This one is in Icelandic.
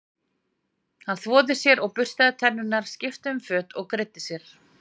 Hann þvoði sér og burstaði tennurnar, skipti um föt og greiddi sér.